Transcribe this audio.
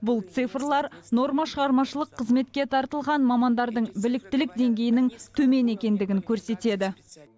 бұл цифрлар норма шығармашылық қызметке тартылған мамандардың біліктілік деңгейінің төмен екендігін көрсетеді